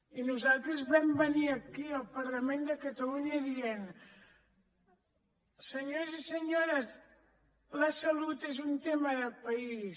i nosaltres vam venir aquí al parlament de catalunya dient senyors i senyores la salut és un tema de país